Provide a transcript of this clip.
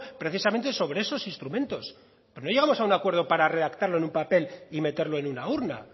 precisamente sobre esos instrumentos pero no llegamos a un acuerdo para redactarlo en un papel y meterlo en una urna